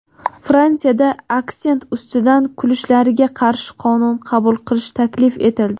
Fransiyada aksent ustidan kulishlarga qarshi qonun qabul qilish taklif etildi.